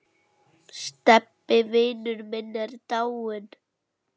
Stebbi vinur minn er dáinn.